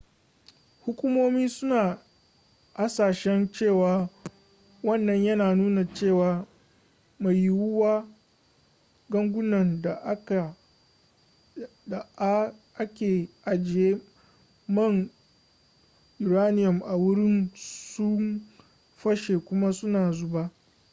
hukumomi suna hasashen cewa wannan yana nuna cewa mai yiwuwa gangunan da a ke ajiye man uranium a wurin sun fashe kuma suna zuba